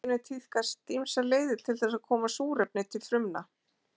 Í dýraríkinu tíðkast ýmsar leiðir til þess að koma súrefni til frumna.